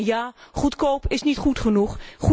En ja, goedkoop is niet goed genoeg.